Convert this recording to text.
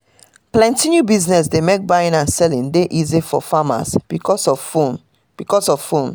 plenty new business dey mek buying and selling dey easy for farmers becos of phone becos of phone